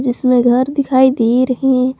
जिसमें घर दिखाई दे रहे--